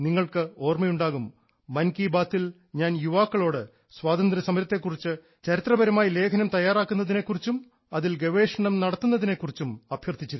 നിങ്ങൾക്ക് ഓർമ്മയുണ്ടാകും മൻ കി ബാത്തിൽ ഞാൻ യുവാക്കളോട് സ്വാതന്ത്ര്യസമരത്തെ കുറിച്ച് ചരിത്രപരമായി ലേഖനം തയ്യാറാക്കാണം അതില് ഗവേഷണം നടത്തുകയും ചെയ്യുന്നതിനെ കുറിച്ച് അഭ്യർത്ഥിച്ചിരുന്നു